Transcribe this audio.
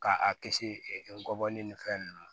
Ka a kisi ngɔbɔli nin fɛn ninnu